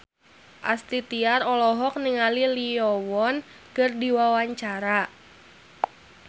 Astrid Tiar olohok ningali Lee Yo Won keur diwawancara